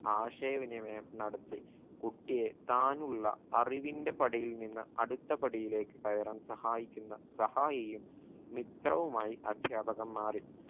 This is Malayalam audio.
ആശയ വിനിമയം നടത്തി കുട്ടിയെ താനുള്ള അറിവിന്റെ പടിയിൽ നിന്ന് അടുത്ത പടിയിലേക്ക് കയറാൻ സഹായിക്കുന്ന സഹായിയും മിത്രവുമായി അധ്യാപകൻ മാറി